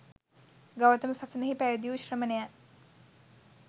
ගෞතම සසුනෙහි පැවිදි වූ ශ්‍රමණයන්